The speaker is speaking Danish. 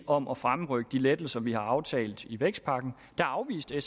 om at fremrykke de lettelser vi har aftalt i vækstpakken afviste